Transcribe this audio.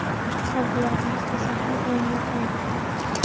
Qalblarimiz esa har doim yaqindir.